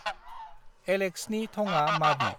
एलेक्सनि थंआ माबि?